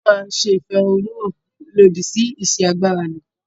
A o máa ṣe ìfẹ̀húnnún hàn lòdì sí ìsi agbára lò.